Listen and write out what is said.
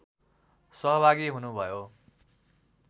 सहभागी हुनुभयो